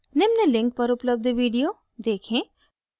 निम्न link पर उपलब्ध video देखें